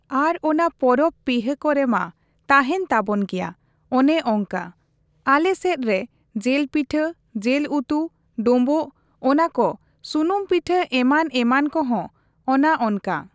ᱟᱨ ᱚᱱᱟ ᱯᱚᱨᱚᱵ ᱯᱤᱦᱟᱹ ᱠᱚᱨᱮ ᱢᱟ ᱛᱟᱦᱮᱱ ᱛᱟᱵᱚᱱ ᱜᱮᱭᱟ, ᱚᱱᱮ ᱚᱝᱠᱟ᱾ ᱟᱞᱮ ᱥᱮᱫ ᱨᱮ ᱡᱤᱞ ᱯᱤᱴᱷᱟᱹ, ᱡᱤᱞ ᱩᱛᱩ, ᱰᱳᱷᱵᱳᱜ ᱚᱱᱟ ᱠᱚ ᱥᱩᱱᱩᱢ ᱯᱤᱴᱷᱟᱹ ᱮᱢᱟᱱᱼᱮᱢᱟᱱ ᱠᱚᱦᱚ, ᱚᱱᱟ ᱚᱱᱠᱟ᱾